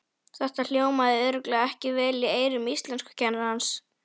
Þetta hljómaði örugglega ekki vel í eyrum íslenskukennarans!